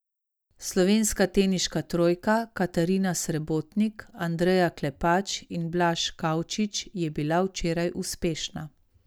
Slovenska teniška trojka Katarina Srebotnik, Andreja Klepač in Blaž Kavčič je bila včeraj uspešna.